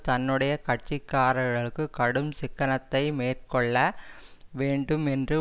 தன்னுடைய கட்சிக்காரர்களுக்கு கடும் சிக்கனத்தை மேற்கொள்ள வேண்டும் என்று